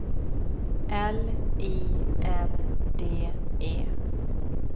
L I N D E